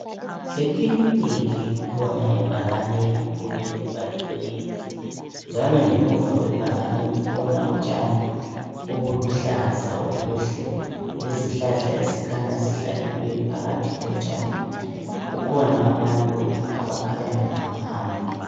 Ekilinika kukhona ibhakane elikhulu elibhaliweyo njalo ngemuva kwebhakani kukhona utshani obuluhlaza obuhle lezihlahla ezikhanya zihlanyelwe phakathi kotshani. Kukhona abantu abakhanya behamba hamba.